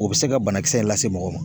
O bɛ se ka banakisɛ in lase mɔgɔ ma.